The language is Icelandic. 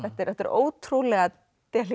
þetta er ótrúlega